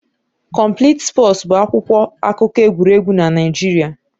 Complete Sports' bụ akwụkwọ akụkọ egwuregwu na Naịjirịa